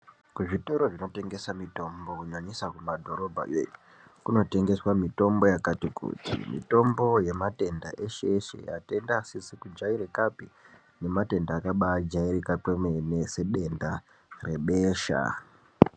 Kuzvitoro zvinotengese mitombo kunyanyisa kumadhorobhayo kunotengeswa mitombo yakati kuti. Mitombo yematenda eshe eshe matenda asizi kujairikapi nematenda akabaajairika kwemene sedenda rebesha.